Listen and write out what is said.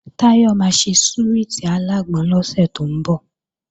Táyọ̀ máa ṣe súwìtì alágbọn lọ́sẹ̀ tó ń bọ̀